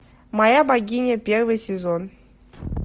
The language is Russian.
моя богиня первый сезон